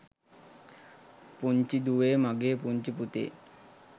පුංචි දුවේ මගෙ පුංචි පුතේ